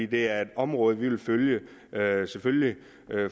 det er et område vi vil følge selvfølgelig